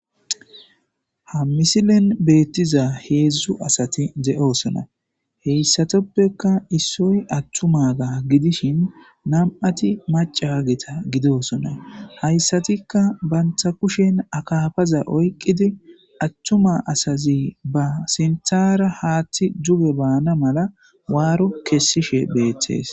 Ha misilen beettiza heedzdzu asati de'osona heyssatoppeka issoy attuma ga gidishin nam'ati macaageta gidosona hayssatikka banta kushen akafaza oyqqidi attuma asazi ba sinthara haaththi juge baana mala waaro kessishe beettees.